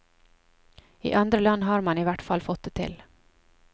I andre land har man i hvert fall fått det til.